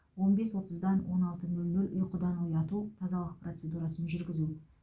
он бес отыздан он алты нөл нөл ұйқыдан ояту тазалық процедурасын жүргізу